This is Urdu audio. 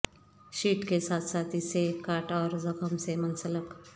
شیٹ کے ساتھ ساتھ اسے کاٹ اور زخم سے منسلک